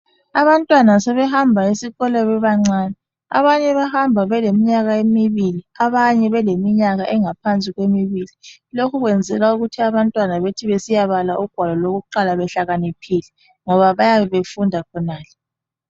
Abantwana sebehamba esikolo bebancane . Abanye bahamba beleminyaka emibili abanye beleminyaka engaphansi kwemibili .Lokhu kwenzelwa ukuthi abantwana bethi besiya bala ugwalo lokuqala behlakaniphile ngoba bayabe befunda khonale .